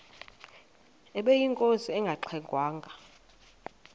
ubeyinkosi engangxe ngwanga